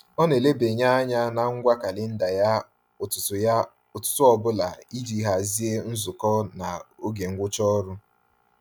Ọ na-elebanye anya na ngwa kalịnda ya ụtụtụ ya ụtụtụ ọbụla iji hazie nzukọ na oge ngwụcha ọrụ.